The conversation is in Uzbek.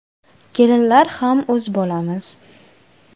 Kelinlar ham o‘z bolamiz.